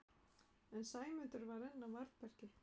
En Sæmundur var enn á varðbergi.